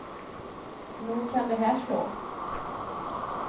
Nog kan det här slå.